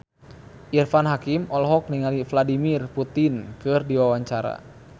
Irfan Hakim olohok ningali Vladimir Putin keur diwawancara